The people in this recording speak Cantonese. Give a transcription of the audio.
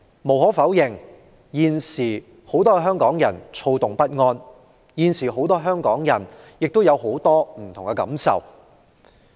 無可否認，很多香港人現在躁動不安，各有許多不同感受。